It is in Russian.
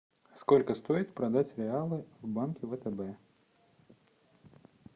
сколько стоит продать реалы в банке втб